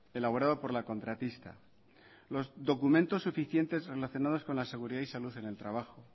elaborado por la contratista los documentos suficientes relacionados con la seguridad y salud en el trabajo